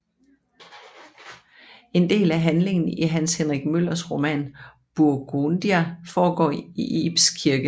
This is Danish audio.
En del af handlingen i Hans Henrik Møllers roman Burgundia foregår i Ibs Kirke